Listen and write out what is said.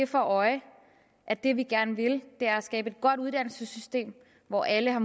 for øje at det vi gerne vil er at skabe et godt uddannelsessystem hvor alle har